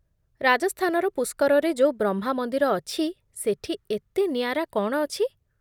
ରାଜସ୍ଥାନର ପୁଷ୍କରରେ ଯୋଉ ବ୍ରହ୍ମା ମନ୍ଦିର ଅଛି ସେଠି ଏତେ ନିଆରା କ'ଣ ଅଛି?